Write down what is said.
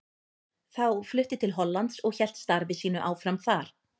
Þá flutti til Hollands og hélt starfi sínu áfram þar.